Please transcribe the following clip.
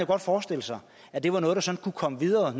godt forestille sig at det var noget der sådan kunne komme videre og at